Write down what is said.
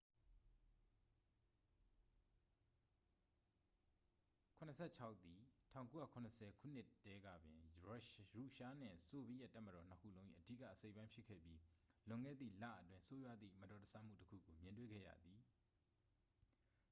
il-76 သည် 1970 ခုနှစ်တည်းကပင် ရုရှားနှင့် ဆိုဗီယက်တပ်မတော်နှစ်ခုလုံး၏ အဓိကအစိတ်အပိုင်းဖြစ်ခဲ့ပြီး လွန်ခဲ့သည့်လအတွင်း ဆိုးရွားသည့် မတော်တဆမှုတစ်ခုကို မြင်တွေ့ခဲ့ရသည်